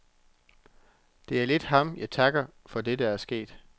Det er lidt ham, jeg kan takke for det, der er sket.